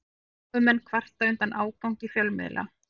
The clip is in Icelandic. Námumenn kvarta undan ágangi fjölmiðla